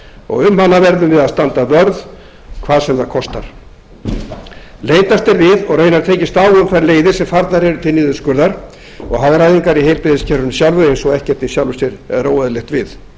og um hana verðum við að standa vörð hvað sem það konar leitast er við og raunar tekist á um þær leiðir sem farnar eru til niðurskurðar og hagræðingar í heilbrigðiskerfinu sjálfu eins og ekkert í sjálfu sér er óeðlilegt við